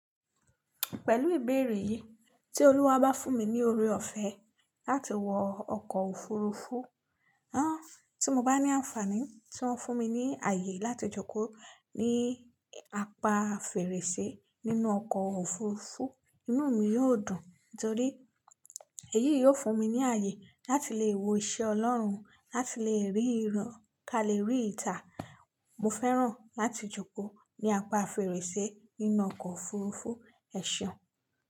Pẹ̀lú ìbéèrè yìí tí Olúwa bá fún mi ní oore ọ̀fẹ́ láti wọ ọkọ̀ òfurufú, tí mo bá ní àǹfààní tí ó ń fún mi ní ààyè láti jókòó ní apá fèrèsé nínú ọkọ̀ òfurufú, inú mi yóò dùn. Nítorí èyí yóò fún mi ní ààyè láti lè wo iṣẹ́ Ọlọ́run, láti lè rí ìràn ká lè rí ìtà. Mo fẹ́ràn láti jókòó ní apá fèrèsé nínú ọkọ̀ òfurufú ẹ̀ṣọ́.